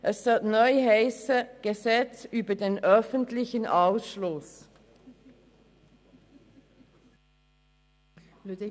Es sollte neu «Gesetz über den öffentlichen Ausschluss» heissen.